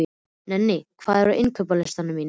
Nenni, hvað er á innkaupalistanum mínum?